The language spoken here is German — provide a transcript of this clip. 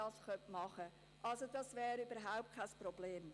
Das wäre also überhaupt kein Problem.